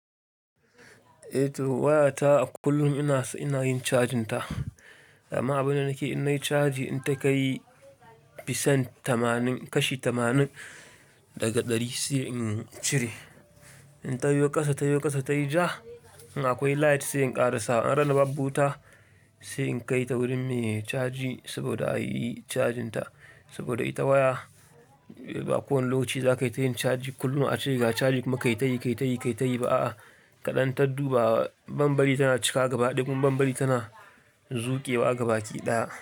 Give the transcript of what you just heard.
Eh to waya ta kullum ina, ina yin cajin ta. Ama abin da nake in nayi caji in ta kai fisan tamanin, kashi tamanin daga ɗari sai in cire. In ta yi ƙasa, ta yi ƙasa, ta yi ja in akwai light sai in ƙara sa. A randa babbu wuta sai in kai ta wurin me ya caji saboda a yi cajin ta. Saboda ita waya ba ko wanda lokaci za ka yi ta yin caji kullum ace ga caji kuma kai tayi, kai tayi, kai tayi ba'a. Kaɗan ta duba bambari tana cika gaba, ɗiga bambari tana zuƙewa gaba ki ɗaya.